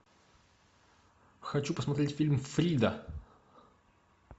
хочу посмотреть фильм фрида